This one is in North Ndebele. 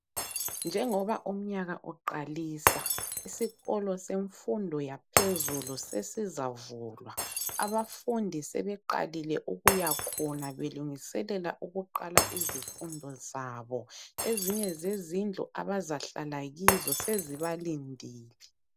Njengoba umnyaka uqalisa isikolo semfundo yaphezulu sesizavulwa. Abafundi sebeqalile ukuyakhona belungiselela ukuqala izifundo zabo. Ezinye zezindlu abazahlala kizo sezibalindele.